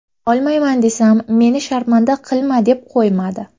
Olmayman desam, meni sharmanda qilma deb qo‘ymadi.